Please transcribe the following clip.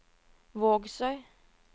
Vågsøy